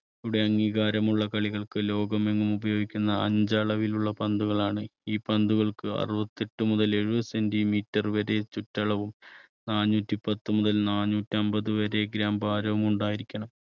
യുടെ അംഗീകാരമുള്ള കളികൾക്ക് ലോകമെങ്ങും ഉപയോഗിക്കുന്ന അഞ്ച് അളവിലുള്ള പന്തുകളാണ് ഈ പന്തുകൾക്ക് അറുപത്തെട്ട് മുതൽ എഴുപത് centimeter വരെ ചുറ്റളവും നാനൂറ്റി പത്ത് മുതൽ നാനൂറ്റി അൻപത് വരെ gram ഭാരവും ഉണ്ടായിരിക്കണം.